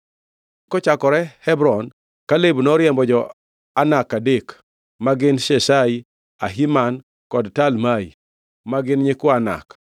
Kochakore Hebron, Kaleb noriembo jo-Anak adek, ma gin Sheshai, Ahiman kod Talmai ma gin nyikwa Anak.